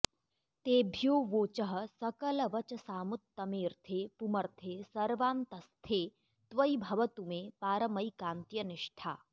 तेभ्योऽवोचः सकलवचसामुत्तमेऽर्थे पुमर्थे सर्वान्तस्स्थे त्वयि भवतु मे पारमैकान्त्यनिष्ठा